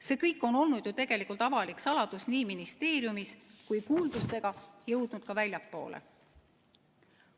See kõik on olnud ju tegelikult avalik saladus ministeeriumis ja jõudnud kuuldustega ka väljapoole.